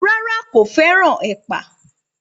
Rárá, kò fẹ́ràn ẹ̀pà